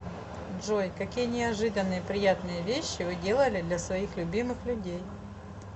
джой какие неожиданные приятные вещи вы делали для своих любимых людей